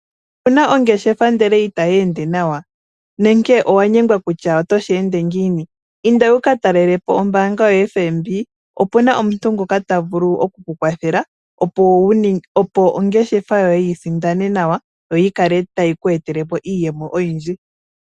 Owu na ongeshefa ndele itayi ende nawa? Nenge owa nyengwa kutya otoshi ende ngiini? Inda wu ka talele po ombaanga yoFNB, opu na omuntu ngoka ta vulu oku ku kwathela, opo ongeshefa yoye yi sindane nawa, yo yi kale tayi ku etele po iiyemo oyindji.